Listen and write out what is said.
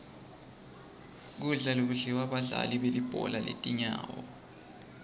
kudla lokudliwa badlali belibhola letinyawo